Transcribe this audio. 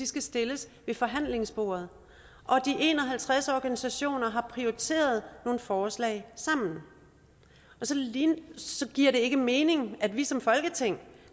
skal stilles ved forhandlingsbordet og at de en og halvtreds organisationer har prioriteret nogle forslag sammen så det giver ikke mening at vi som folketing